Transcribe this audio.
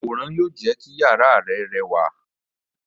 Àwòrán yóò jé kí iyàrá rẹ rẹwà.